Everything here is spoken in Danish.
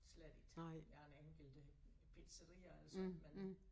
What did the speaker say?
Slet ikke der en enkelt øh pizzeria og sådan men